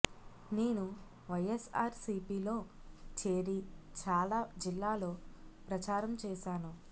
నేను వైఎస్ఆర్ సీపీలో చేరి చాలా జిల్లాలో ప్రచారం చేశాను